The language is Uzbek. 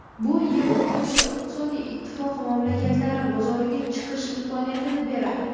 Bu Yevrosiyo iqtisodiy ittifoqi mamlakatlari bozoriga chiqish imkoniyatini beradi.